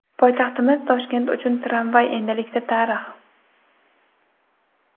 Poytaxtimiz Toshkent uchun tramvay endilikda tarix.